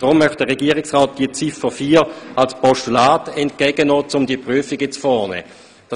Deshalb möchte der Regierungsrat Ziffer 4 als Postulat entgegennehmen, um die entsprechenden Prüfungen vorzunehmen.